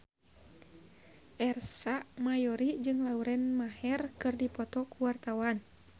Ersa Mayori jeung Lauren Maher keur dipoto ku wartawan